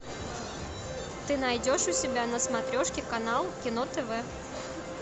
ты найдешь у себя на смотрешке канал кино тв